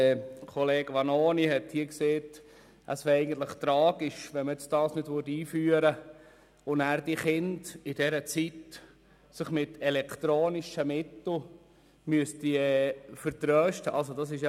Kollege Vanoni hat gesagt, es wäre tragisch wäre, wenn wir diese nicht einführen würden und sich die Kinder danach während dieser Zeit mit elektronischen Mitteln vertrösten müssten.